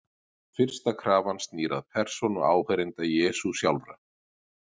Fyrsta krafan snýr að persónu áheyrenda Jesú sjálfra.